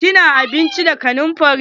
Kina abinci da kanumfari?